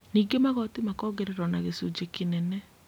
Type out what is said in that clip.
Ningĩ magoti makongererwo na gĩcunjĩ kĩnene